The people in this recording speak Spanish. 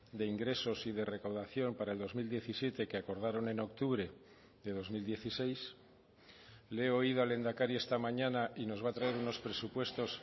de ingresos y de recaudación para el dos mil diecisiete que acordaron en octubre de dos mil dieciséis le he oído al lehendakari esta mañana y nos va a traer unos presupuestos